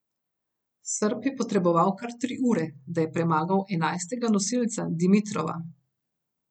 Srb je potreboval kar tri ure, da je premagal enajstega nosilca Dimitrova.